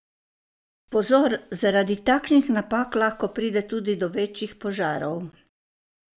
Pozor, zaradi takšnih napak lahko pride tudi do večjih požarov.